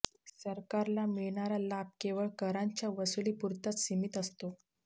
सरकारला मिळणारा लाभ केवळ करांच्या वसुलीपुरताच सीमित असतो